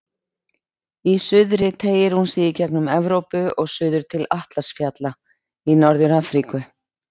Í suðri teygir hún sig í gegnum Evrópu og suður til Atlas-fjalla í Norður-Afríku.